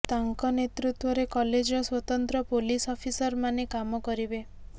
ତାଙ୍କ ନେତୃତ୍ୱରେ କଲେଜର ସ୍ୱତନ୍ତ୍ର ପୋଲିସ ଅଫିସରମାନେ କାମ କରିବେ